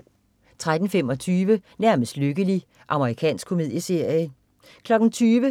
13.25 Nærmest lykkelig. Amerikansk komedieserie 20.00